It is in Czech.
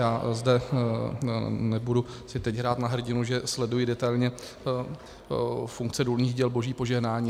Já zde si nebudu teď hrát na hrdinu, že sleduji detailně funkce důlních děl Boží požehnání.